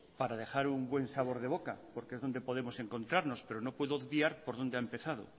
para dejar un buen sabor de boca porque es donde podemos encontrarnos pero no puedo obviar por dónde ha empezado